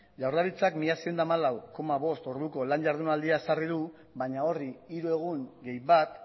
jaurlaritzak mila seiehun eta hamalau koma bost orduko lan jardunaldia ezarri du baina horri hiru egun gehi bat